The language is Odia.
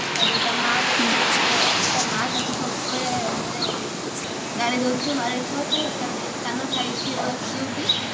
ତାପରେ ତା ମାଆ ତାକୁ ସବୁବେଳେ ତା ମାଆ ତାକୁ ସବୁବେଳେ ମାନେ ଗାଳିଦଉଥିବ ମାରୁଥିବ ତ ତାର ଗୋଟେ ସାନ ଭାଇ ଥିବ ୟୁବି